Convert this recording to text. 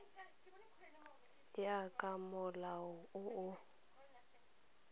ya ka molao o o